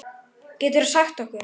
Geturðu sagt okkur?